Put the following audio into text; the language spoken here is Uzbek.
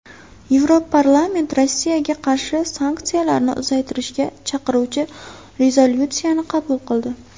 Yevroparlament Rossiyaga qarshi sanksiyalarni uzaytirishga chaqiruvchi rezolyutsiyani qabul qildi.